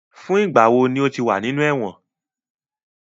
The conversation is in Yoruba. Fun igba wo ni o ti wa ninu ẹwọn?